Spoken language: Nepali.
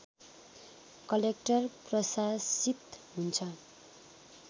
कलेक्टर प्राशासित हुन्छ